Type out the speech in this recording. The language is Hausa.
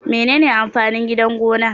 Menene amfanin Gidan gona?